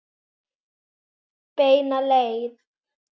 Beina leið.